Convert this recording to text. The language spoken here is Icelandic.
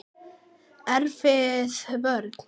Erfið vörn.